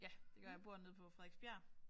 Ja det gør jeg jeg bor nede på Frederiksbjerg